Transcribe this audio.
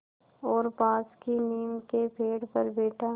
और पास की नीम के पेड़ पर बैठा